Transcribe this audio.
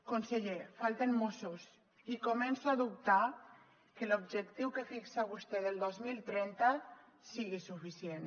conseller falten mossos i començo a dubtar que l’objectiu que fixa vostè del dos mil trenta sigui suficient